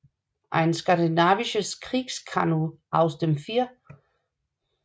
Ein skandinavisches Kriegskanu aus dem 4